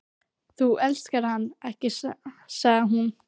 Þú elskar hann ekki, sagði hún.